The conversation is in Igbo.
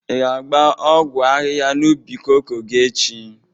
Ị ga-agba ọgwọ ahịha n'ubi koko gi echi?